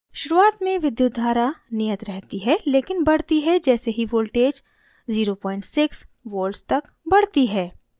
शुरुआत में विद्युत धारा नियत रहती है लेकिन बढ़ती है जैसे ही voltage 06 volts तक बढ़ती है